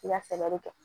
I ka fɛɛrɛ de kɛ